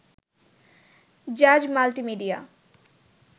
Jaaz multimedia